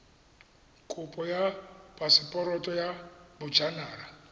kopo ya phaseporoto ya bojanala